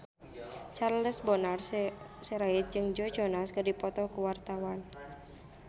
Charles Bonar Sirait jeung Joe Jonas keur dipoto ku wartawan